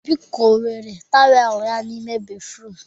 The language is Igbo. Obi kowere tawel ya n'ime béfrụm.